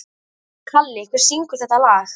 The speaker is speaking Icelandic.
Kalli, hver syngur þetta lag?